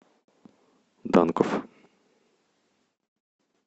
данков